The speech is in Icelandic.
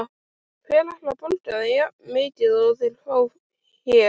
Hver ætlar að borga þeim jafnmikið og þeir fá hér?